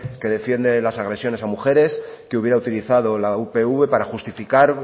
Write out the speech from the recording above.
que defiende las agresiones a mujeres que hubiera utilizado la upv para justificar